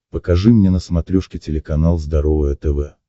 покажи мне на смотрешке телеканал здоровое тв